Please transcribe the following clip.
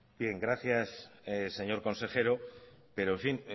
bien gracias señor consejero pero en fin